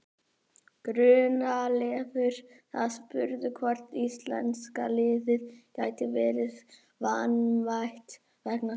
Gunnleifur var spurður hvort íslenska liðið gæti verið vanmetið vegna þessa.